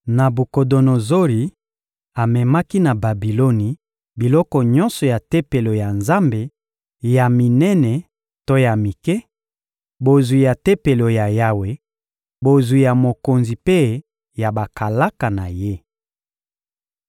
Nabukodonozori amemaki na Babiloni biloko nyonso ya Tempelo ya Nzambe, ya minene to ya mike, bozwi ya Tempelo ya Yawe, bozwi ya mokonzi mpe ya bakalaka na ye.